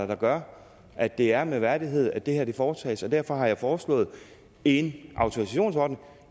der gør at det er med værdighed at det her foretages og derfor har jeg foreslået en autorisationsordning